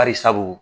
Bari sabu